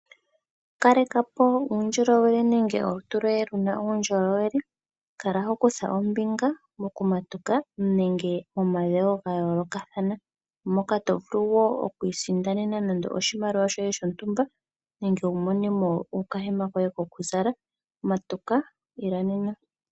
Kalekapo uundjolowele nege olutu loye luna uundjolowele. Kala ho kutha ombinga mokumatuka nenge momadhewo ga yoolokathana, moka to vulu wo oku isindanena nande oshimaliwa shoye shontumba nenge wu monemo okahema koye kokuzala. Matuka, ila nena.